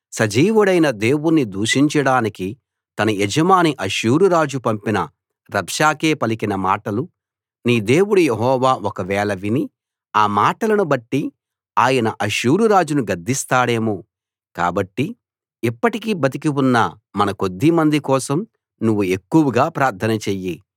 సజీవుడైన దేవుణ్ణి దూషించడానికి తన యజమాని అష్షూరు రాజు పంపిన రబ్షాకే పలికిన మాటలు నీ దేవుడు యెహోవా ఒకవేళ విని ఆ మాటలను బట్టి ఆయన అష్షూరు రాజును గద్దిస్తాడేమో కాబట్టి ఇప్పటికి బతికి ఉన్న మన కొద్దిమంది కోసం నువ్వు ఎక్కువగా ప్రార్థన చెయ్యి